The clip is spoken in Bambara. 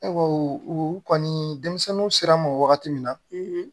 E ko u kɔni denmisɛnninw sera mɔ wagati min na